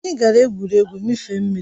Anyị gara egwuregwu mmịfe mmiri